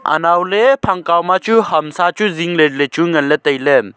anow ley phang kaw ma chu hamsa chu zing ley ley chu nganle tai ley.